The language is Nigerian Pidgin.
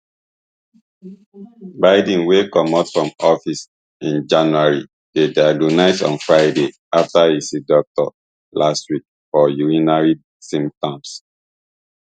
biden wey comot from office in january dey diagnosed on friday afta e see doctor last week for urinary symptoms